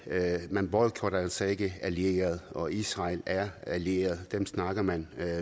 at man boykotter altså ikke allierede og israel er en allieret dem snakker man